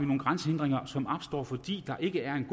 nogle grænsehindringer som opstår fordi der ikke er en